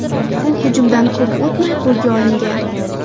U hujumdan kop o‘tmay qo‘lga olingan.